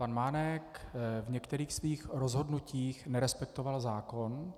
Pan Mánek v některých svých rozhodnutích nerespektoval zákon.